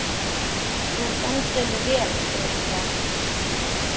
Þú stendur þig vel, Irja!